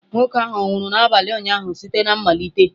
Nwa nwoke ahụ ọ̀ nwụrụ n'abalị ụnyaahụ site na mmalite?